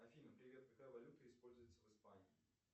афина привет какая валюта используется в испании